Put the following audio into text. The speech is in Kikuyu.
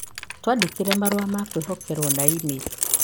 Twandĩkĩre marũa ma kwĩhokerũo na e-mail